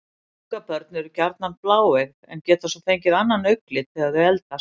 Ungabörn eru gjarnan bláeygð en geta svo fengið annan augnlit þegar þau eldast.